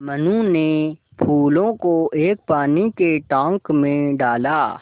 मनु ने फूलों को एक पानी के टांक मे डाला